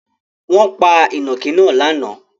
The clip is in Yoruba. Wọn pa ìnàkí náà lánàá?